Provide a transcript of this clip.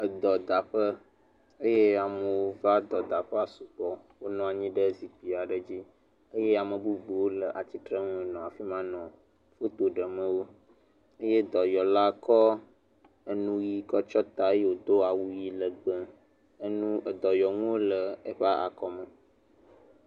Edɔdaƒe eye amewo va edɔdaƒea sugbɔ. Wonɔ anyi ɖe zikpui aɖe dzi eye ame bubu aɖewo le atsitrenu nɔ afi ma enɔ foto ɖem wo eye edɔyɔla kɔ enuʋi kɔ tsɔ ta eye wodo awu ʋi legbe. Enu edɔyɔnuwo le eƒe akɔme.